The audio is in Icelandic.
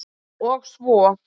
og svo.